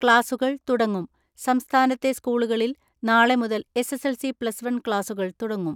ക്ലാസുകൾ തുടങ്ങും സംസ്ഥാനത്തെ സ്കൂളുകളിൽ നാളെ മുതൽ S S L C plus one ക്ലാസുകൾ തുടങ്ങും.